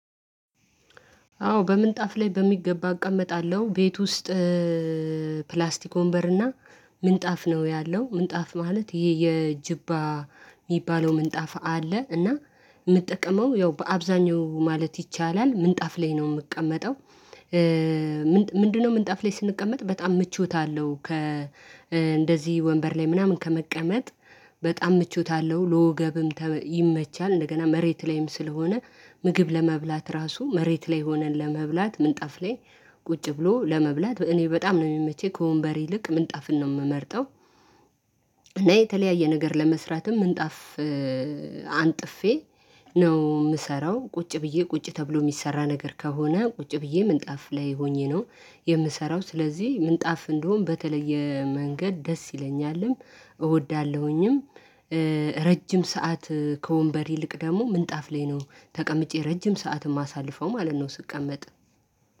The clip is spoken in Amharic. አዎ በምንጣፍ ላይ በሚገባ እቀመጣለሁ ቤት ውስጥ ፕላስቲክ ወንበርና ምንጣፍ ነው ያለው ምንጣፍ ማለት ይሄ የጅባ የሚባለው ምንጣፍ አለ እና የምጠቀመው ያው በአብዛኛው ማለት ይቻላል ምንጣፍ ላይ ነው የምቀመጠው። ምንድነው? ምንጣፍ ላይ ስንቀመጥ በጣም ምቾት አለው ከ እንደዚህ ወንበር ላይ ምናምን ከመቀመጥ በጣም ምቾት አለው ለወገብም ይመቻል። እንደገና መሬት ላይም ስለሆነ ምግብ ለመብላት ራሱ መሬት ላይ ሆነን ለመብላት ምንጣፍ ላይ ቁጭ ብሎ ለመብላት እኔ በጣም ነው የሚመቸኝ ከወንበሬ ይልቅ ምንጣፍን ነው የምመርጠው። እና የተለያየ ነገር ለመስራትም ምንጣፍ አንጥፌ ነው የምሰራው ቁጭ ብዬ ቁጭ ተብሎ የሚሰራ ነገር ከሆነ ቁጭ ብዬ ምንጣፍ ላይ ሆኜ ነው የምሰራው ስለዚህ ምንጣፍ እንደሆን በተለየ መንገድ ደስ ይለኛልም እወዳለሁኝም። ረጅም ሰዓት ከወንበር ይልቅ ደግሞ ምንጣፍ ላይ ነው ተቀምጬ ረጅም ሰዓት የማሳልፈው ማለት ነው። ስቀመጥ